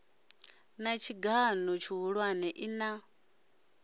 na tshigan o tshihulwane ina